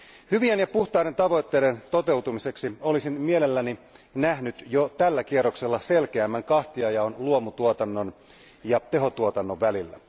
Hyvien ja puhtaiden tavoitteiden toteutumiseksi olisin mielelläni nähnyt jo tällä kierroksella selkeämmän kahtiajaon luomutuotannon ja tehotuotannon välillä.